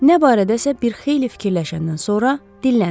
Nə barədəsə bir xeyli fikirləşəndən sonra dinləndi.